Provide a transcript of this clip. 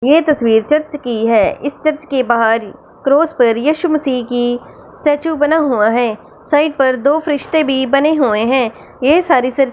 ये तस्वीर चर्च की है इस चर्च के बाहर क्रोस पर येशु मसीह की स्टैचू बना हुआ है साइड पर दो फरिश्ते भी बने हुए हैं ये सारे--